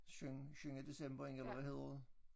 Synge synge december ind eller hvad hedder det